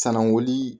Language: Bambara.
Sananguli